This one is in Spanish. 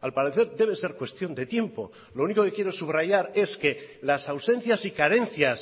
al parecer debe ser cuestión de tiempo lo único que quiero subrayar es que las ausencias y carencias